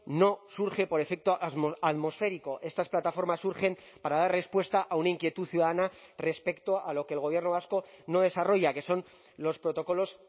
no surge por efecto atmosférico estas plataformas surgen para dar respuesta a una inquietud ciudadana respecto a lo que el gobierno vasco no desarrolla que son los protocolos